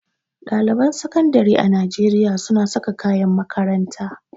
Ɗaliban sakandire a Najeriya suna saka kayan makaranta.